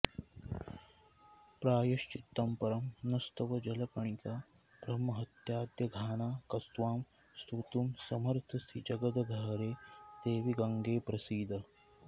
प्रायश्चित्तं परं नस्तव जलकणिका ब्रह्महत्याद्यघाना कस्त्वां स्तोतुं समर्थस्त्रिजगदघहरे देवि गङ्गे प्रसीद